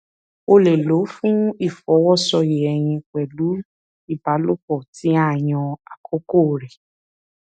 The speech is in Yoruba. o lè lọ fún ìfọwọsoyè ẹyin pẹlú ìbálòpọ tí a yàn àkókò rẹ